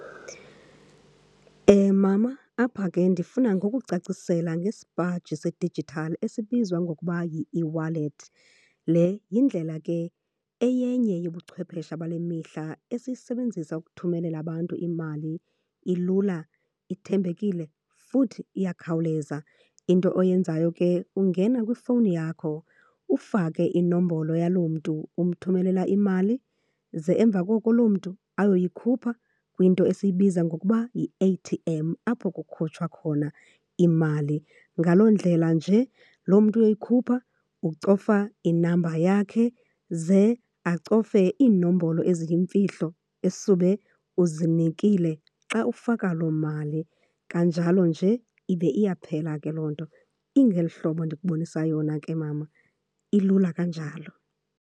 Mama, apha ke ndifuna ngokucacisela ngesipaji sedijithali esibizwa ngokuba yieWallet. Le yindlela ke eyenye yobuchwephesha bale mihla, esiyisebenzisa ukuthumelela abantu imali. Ilula, ithembekile futhi iyakhawuleza. Into oyenzayo ke ungena kwifowuni yakho, ufake inombolo yaloo mntu umthumelela imali, ze emva koko loo mntu ayoyikhupha kwinto esiyibiza ngokuba yi-A_T_M, apho kukhutshwa khona imali. Ngaloo ndlela nje, loo mntu uyoyikhupha ucofa inamba yakhe, ze acofe iinombolo eziyimfihlo esube uzinikile xa ufaka loo mali. Kanjalo nje ibe iyaphela ke loo nto. Ingeli hlobo ndinokubonisa yona ke mama, ilula kanjalo.